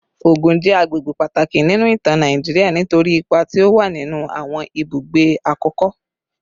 Ogun je agbegbe pataki ninu itan Nigeria nitori ipa ti o wa ninu awon ibugbe akoko